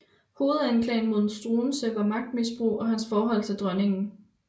Hovedanklagen mod Struensee var magtmisbrug og hans forhold til dronningen